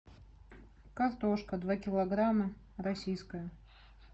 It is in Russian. картошка два килограмма российская